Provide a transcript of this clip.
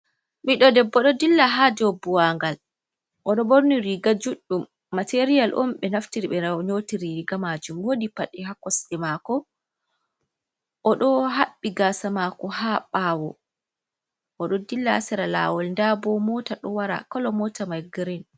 Miɗɗo debbo ɗo dilla ha dou buwangal, oɗo ɓorni riga juɗɗum, materiyal on ɓe naftir ɓe nyoti riga majuuum, woodi paɗee ha kosɗee mako oɗo haɓɓi gaasa maako ha ɓaawoo, oɗo dilla ha sera lawol nda bo mota ɗo wara kolo mota mai girin.